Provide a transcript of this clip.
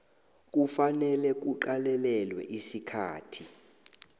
kufanele kuqalelelwe isikhathi